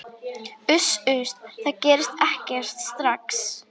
Uss, uss, það gerist ekkert strax.